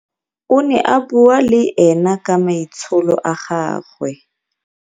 o ne a bua le ena ka maitsholo a gagwe